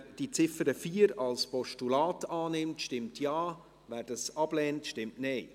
Wer die Ziffer 4 als Postulat annimmt, stimmt Ja, wer dies ablehnt, stimmt Nein.